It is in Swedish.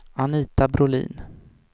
Anita Brolin